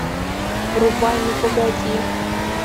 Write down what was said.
врубай ну погоди